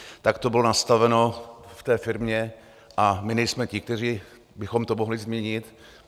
Tak to bylo nastaveno v té firmě a my nejsme ti, kteří bychom to mohli změnit.